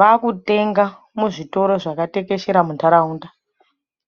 vakutenga uzvitoro zvakatekeshera munharaunda